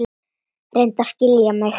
Reyndu að skilja mig.